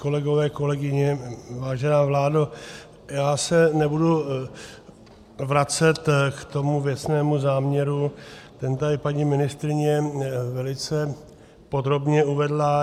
Kolegové, kolegyně, vážená vládo, já se nebudu vracet k tomu věcnému záměru, ten tady paní ministryně velice podrobně uvedla.